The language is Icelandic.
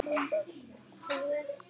Davíð Bless.